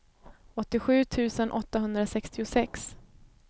åttiosju tusen åttahundrasextiosex